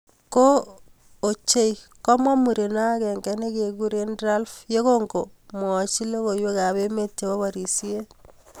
kooo ochei komwa mureno akenge nekikuren Ralph yekokomwachin logowek ab eme chebo parisien